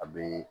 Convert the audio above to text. A bee